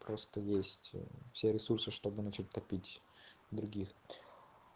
просто есть все ресурсы чтобы начать топить других